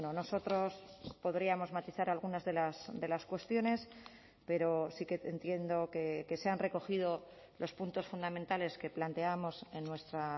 nosotros podríamos matizar algunas de las cuestiones pero sí que entiendo que se han recogido los puntos fundamentales que planteábamos en nuestra